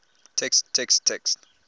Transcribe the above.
text text text